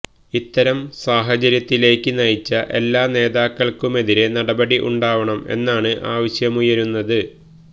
ഇത്തരം സാഹചര്യത്തിലേക്ക് നയിച്ച എല്ലാ നേതാക്കൾക്കുമെതിരെ നടപടി ഉണ്ടാവണം എന്നാണ് ആവശ്യമുയരുന്നത്